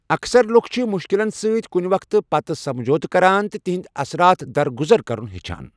اكثرلُكھ چھِ مُشكِلن سۭتۍ كُنہِ وقتہٕ پتہٕ سمجھوتہٕ كران تہٕ تہندِ اثرات درگُزیر كرُن ہیچھان ۔